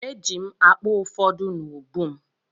Eji m akpa ụfọdụ n’ubu m.